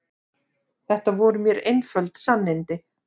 Þetta voru mér einföld sannindi.